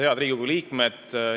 Head Riigikogu liikmed!